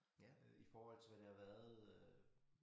Øh i forhold til hvad det har været øh